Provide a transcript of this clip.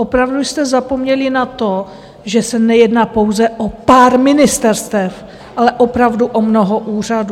Opravdu jste zapomněli na to, že se nejedná pouze o pár ministerstev, ale opravdu o mnoho úřadů.